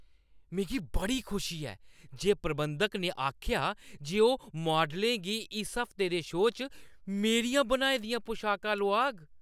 मिगी बड़ी खुशी ऐ जे प्रबंधक ने आखेआ जे ओह् मॉडलें गी इस हफ्ते दे शो च मेरियां बनाई दियां पोशाकां लोआग।